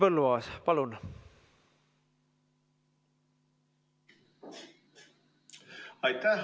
Henn Põlluaas, palun!